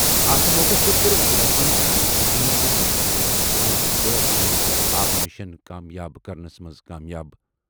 اَتھ موقعَس پٮ۪ٹھ کٔر ؤزیٖرِ اعظمَن زَنانن اپیل زِ تِم بناوِ مُلُک غٲر غذٲیی تہٕ آبہٕ مِشن کامیاب بناوُن۔